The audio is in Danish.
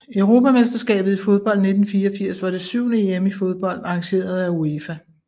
Europamesterskabet i fodbold 1984 var det syvende EM i fodbold arrangeret af UEFA